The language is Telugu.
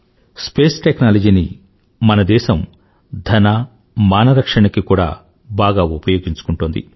స్పేస్ టెక్నాలజీని మన దేశం ధన మాన రక్షణకి కూడా బాగా ఉపయోగించుకుంటోంది